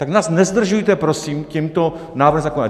Tak nás nezdržujte prosím tímto návrhem zákona.